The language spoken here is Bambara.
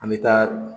An bɛ taa